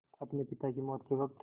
अपने पिता की मौत के वक़्त